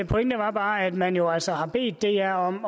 pointe er bare at man jo altså har bedt dr om